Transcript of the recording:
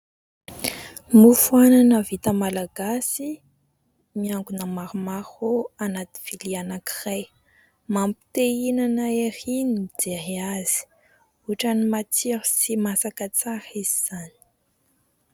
Mofo anana vita malagasy miangona maromaro anaty vilia anankiray. Mampite hinana ery ny mijery azy, ohatran'ny matsiro sy masaka tsara izy izany.